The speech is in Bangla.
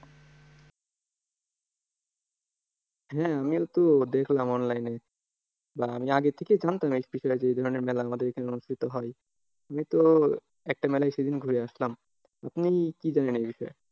হ্যাঁ আমিও তো দেখললাম online এ, বা আমি আগে থেকেই জানতাম special একটা ওই ধরনের মেলা আমাদের এখানে অনুষ্ঠিত হয়। আমি তো একটা মেলায় সেদিন ঘুরে আসলাম। আপনি কি জানেন এই বিষয়ে?